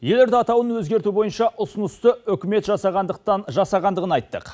елорда атауын өзгерту бойынша ұсынысты үкімет жасағандықтан жасағандығын айттық